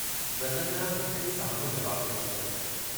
रतनलाल हिक ई साह में जवाबु डींदे चयो।